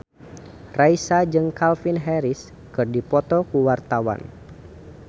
Raisa jeung Calvin Harris keur dipoto ku wartawan